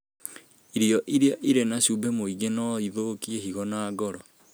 Irio iria irĩ na cumbĩ mũingĩ no ithũkie higo na ngoro.